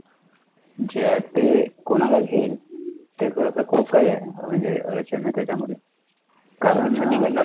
जे आहेत ते, कोणाला घेईल, ते थोडंसं खूप काही आहे, म्हणजे, अडचण आहे त्याच्यामध्ये, कारण,